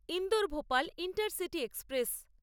Indore Bhopal intercity express